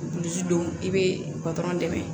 Dusu don i be dɛmɛ